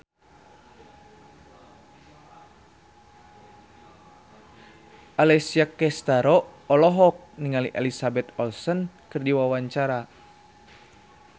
Alessia Cestaro olohok ningali Elizabeth Olsen keur diwawancara